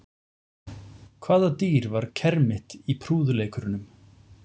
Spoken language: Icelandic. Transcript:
Hvaða dýr var kermit í prúðuleikurunum?